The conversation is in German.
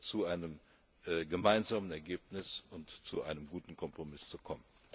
haben, zu einem gemeinsamen Ergebnis und zu einem guten Kompromiss zu kommen.